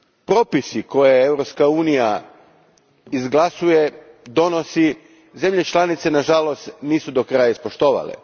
Propisi koje Europska unija izglasuje i donosi, zemlje članice nažalost nisu do kraja ispoštovale.